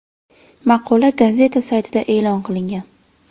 Maqola gazeta saytida e’lon qilingan.